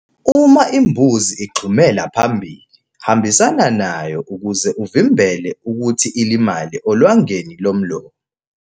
Uma imbuzi igxumela phambili, hambisana nayo ukuze uvimbele ukuthi ilimale olwangenilomlomo.